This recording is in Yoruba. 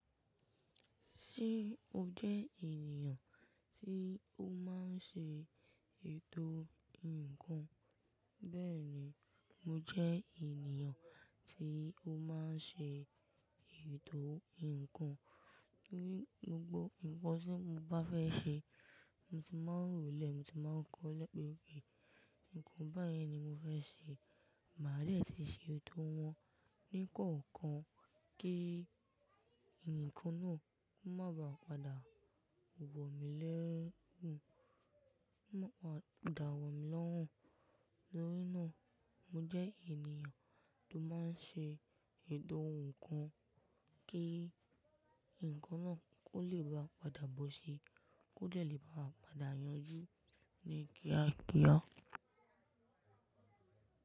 Ṣé o jẹ́ ènìyàn tí ó máa ń ṣe ètò ǹkan? Bẹ́ẹ̀ni, mo jẹ́ ènìyàn tí ó máa ń ṣe ètò ǹkan. Ní gbogbo ǹkan tí mo bá fẹ́ ṣe, mo ti máa ń rò ó lẹ̀, mo ti má ń kọ́ ẹ lẹ́kọ̀ọ́ pé, nǹkan báyìí ni mo fẹ́ ṣe. Màá lè sì ṣe ètò wọn ní kọ̀ọ̀kan kí ǹkan náà má ba à padà wọ̀ mí lẹ́rùú, má ba à dà wọ̀ mí lọ́hùn. Nítorí náà mo jẹ́ ènìyàn tó máa ń ṣe ètò ǹkan kí ǹkan náà kó lè ba à padà bọ́ síi, kó jẹ̀ lè ba à padà yanjú ní kíá kíá.